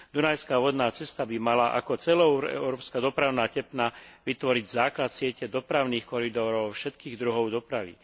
Dunajská vodná cesta by mala ako celoeurópska dopravná tepna vytvoriť základ siete dopravných koridorov všetkých druhov dopravy.